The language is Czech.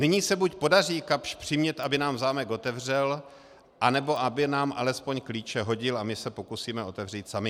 Nyní se buď podaří Kapsch přimět, aby nám zámek otevřel, anebo aby nám alespoň klíče hodil a my se pokusíme otevřít sami.